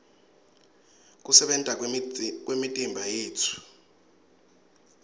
kusebenta kwemitimbayetfu